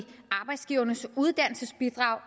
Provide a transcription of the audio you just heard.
arbejdsgivernes uddannelsesbidrag